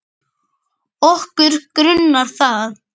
Okkur grunar það.